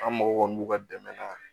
An mago kɔni b'u ka dɛmɛ na